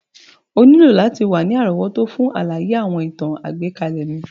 O nílò láti wa ni àrówótó fun àlàyé àwọn ìtàn àgbékalẹ̀ mi.